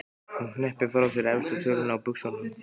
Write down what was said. Hún hneppir frá sér efstu tölunni á buxunum.